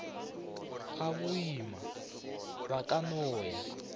gaboima ba ka no ya